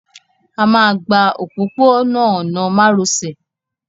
A máa gba òpópó-ọ̀nà márosẹ̀